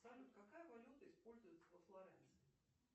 салют какая валюта используется во флоренции